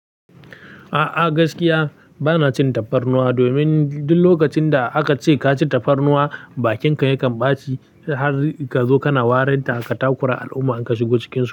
A'a gaskiya bana cin tafarnuwa domin duk lokacin da aka ce ka ci tafarnuwa, bakinka yakan ɓaci har ka zo kana warin ta katakura al'umma in ka shigo cikinsu.